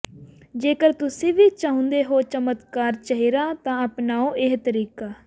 ਜੇਕਰ ਤੁਸੀ ਵੀ ਚਾਹੁੰਦੇ ਹੋ ਚਮਕਦਾਰ ਚਿਹਰਾ ਤਾਂ ਅਪਨਾਓ ਇਹ ਤਰੀਕਾ